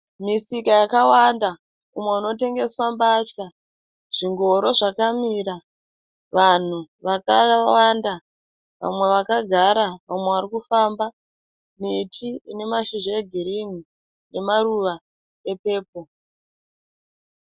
Misika yakawanda umwe inotengeswa mbatya. Zvingoro zvakamira. Vanhu vakawanda. Vamwe vakagara vamwe vari kufamba. Miti ine mashizha egirinhi nemaruva epepuro.